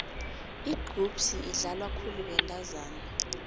igqubhsi idlalwa khulu bentazana